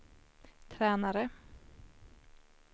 tränare